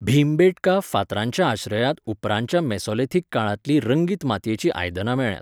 भीमबेटका फातरांच्या आश्रयांत उपरांतच्या मेसोलिथिक काळांतलीं रंगीत मातयेचीं आयदनां मेळ्ळ्यांत.